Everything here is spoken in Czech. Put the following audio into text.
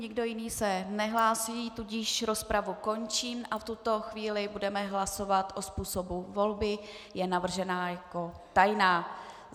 Nikdo jiný se nehlásí, tudíž rozpravu končím a v tuto chvíli budeme hlasovat o způsobu volby, je navržená jako tajná.